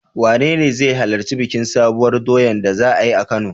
Wanene zai halarci bikin Sabuwar doyar da za a yi a Kano?